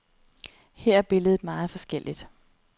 Her er billedet meget forskelligt.